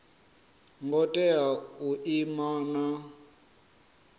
ngo tea u ima na